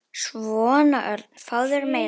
Svona, Örn, fáðu þér meira.